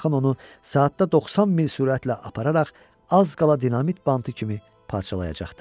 Axın onu saatda 90 mil sürətlə apararaq az qala dinamit bantı kimi parçalayacaqdı.